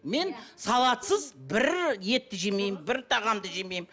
мен салатсыз бір етті жемеймін бір тағамды жемеймін